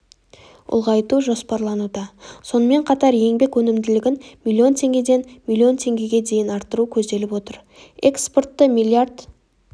ұлғайту жоспарлануда сонымен қатар еңбек өнімділігін миллион теңгеден миллион теңгеге арттыру көзделіп отыр экспортты миллиард